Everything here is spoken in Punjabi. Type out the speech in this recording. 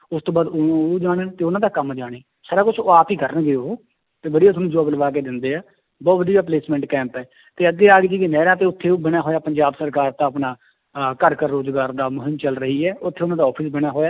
ਉਸ ਤੋਂ ਬਾਅਦ ਉਹ, ਉਹ ਜਾਣਨ ਤੇ ਉਹਨਾਂ ਦਾ ਕੰਮ ਜਾਣੇ, ਸਾਰਾ ਕੁਛ ਉਹ ਆਪ ਹੀ ਕਰਨਗੇ ਉਹ ਤੇ ਵਧੀਆ ਤੁਹਾਨੂੰ job ਲਵਾ ਕੇ ਦਿੰਦੇ ਹੈ, ਬਹੁਤ ਵਧੀਆ placement camp ਹੈ ਤੇ ਅੱਗੇ ਨਹਿਰਾਂ ਤੇ ਉੱਥੇ ਉਹ ਬਣਿਆ ਹੋਇਆ ਪੰਜਾਬ ਸਰਕਾਰ ਦਾ ਆਪਣਾ ਅਹ ਘਰ ਘਰ ਰੋਜ਼ਗਾਰ ਦਾ ਮੁਹਿੰਮ ਚੱਲ ਰਹੀ ਹੈ ਉੱਥੇ ਉਹਨਾਂ ਦਾ office ਬਣਿਆ ਹੋਇਆ